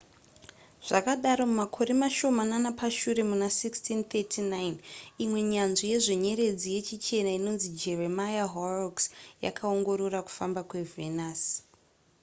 zvadaro mumakore mashomanana pashure muna 1639 imwe nyanzvi yezvenyeredzi yechichena inonzi jeremiah horrocks yakaongorora kufamba kwevenus